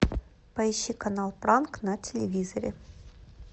поищи канал пранк на телевизоре